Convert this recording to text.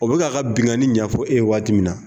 O bɛ k'a ka binnkanni ɲɛfɔ e ye waati min na